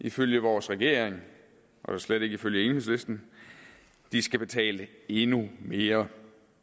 ifølge vores regering og da slet ikke ifølge enhedslisten de skal betale endnu mere